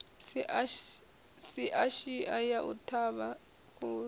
shiashia ya u ṱhavha khuhu